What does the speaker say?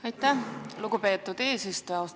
Aitäh, lugupeetud eesistuja!